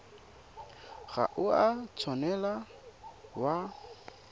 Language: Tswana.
ga o a tshwanela wa